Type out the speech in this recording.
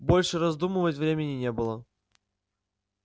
больше раздумывать времени не было